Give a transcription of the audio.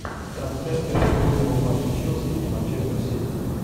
трансляция футбольного матча челси и манчестер сити